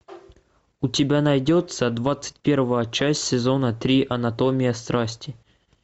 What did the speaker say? у тебя найдется двадцать первая часть сезона три анатомия страсти